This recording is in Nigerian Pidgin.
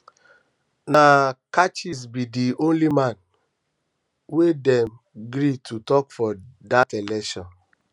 na catchiest be di only man um wey them gree to um talk for that election um